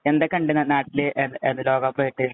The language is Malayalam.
എന്തൊക്കെയുണ്ട് നാട്ടില് ലോകകപ്പായിട്ട്?